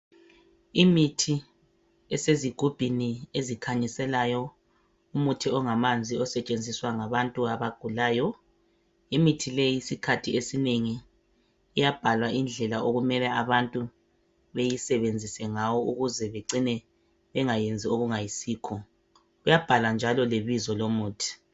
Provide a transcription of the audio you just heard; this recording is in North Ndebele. Imithi esezigubhini ezikhanyiselayo. Umuthi ongamanzi. Osetshenziswa ngabantu abagulayo. Imithi leyi isikhathi esinengi iyabhala indlela okumele abantu bawusebenzise ngayo, ukuze bangacini besenza okungayisikho. Kuyabhalwa njalo lebizo lomuthi.